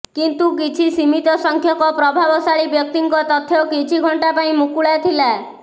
କିନ୍ତୁ କିଛି ସୀମିତ ସଂଖ୍ୟକ ପ୍ରଭାବଶାଳୀ ବ୍ୟକ୍ତିଙ୍କ ତଥ୍ୟ କିଛି ଘଣ୍ଟା ପାଇଁ ମୁକୁଳା ଥିଲା